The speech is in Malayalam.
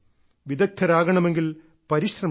വിദഗ്ധരാകണമെങ്കിൽ പരിശ്രമിക്കണം